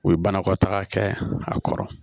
U ye banakɔtaga kɛ a kɔrɔ